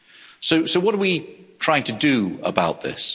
So what are we trying to do about this?